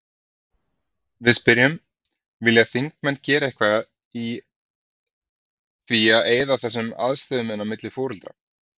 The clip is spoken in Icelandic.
Við spyrjum: Vilja þingmenn gera eitthvað í því að eyða þessum aðstöðumun á milli foreldra?